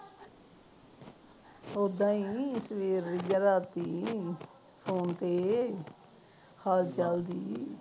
ਉਦਾ ਹੀ ਕਿ ਹੋਇਆ ਰਾਤੀ ਫੋਨ ਤੇ ਹਾਲ ਚਾਲ ਜੀ